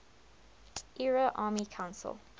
ira army council